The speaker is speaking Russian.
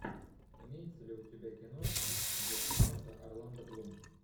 имеется ли у тебя киношка где снимался орландо блум